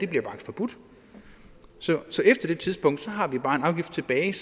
bliver forbudt så efter det tidspunkt har vi bare en afgift tilbage